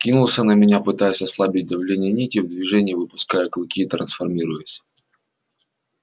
кинулся на меня пытаясь ослабить давление нити в движении выпуская клыки и трансформируясь